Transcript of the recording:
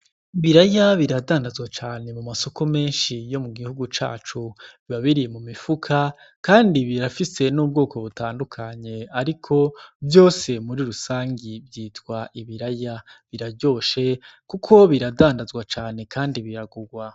Ibraya biradandazwa cane mu masoko menshi yo mugihu cacu, biba biri mu mifuko kandi birafise n'ubwoko butandukanye ariko vyose mur rusangi vyitwa ibiraya, biraryoshe kuko biragurwa.